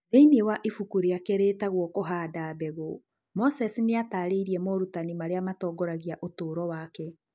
Thĩinĩ wa ibuku rĩake rĩĩtagwo Kũhanda Mbegũ, Moses nĩ ataarĩirie morutani marĩa matongoragia ũtũũro wake.